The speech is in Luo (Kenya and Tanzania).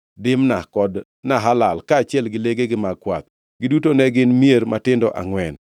Dimna kod Nahalal, kaachiel gi legegi mag kwath. Giduto ne gin mier matindo angʼwen.